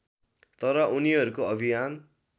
तर उनीहरूको अभियान